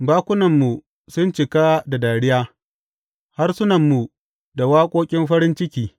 Bakunanmu sun cika da dariya, harsunanmu da waƙoƙin farin ciki.